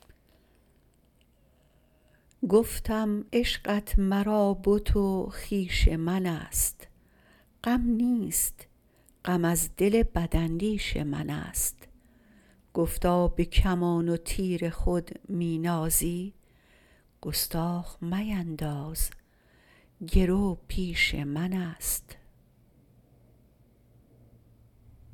گفتم عشقت مرا بت و خویش منست غم نیست غم از دل بداندیش منست گفتا بکمان و تیر خود می نازی گستاخ مینداز گرو پیش منست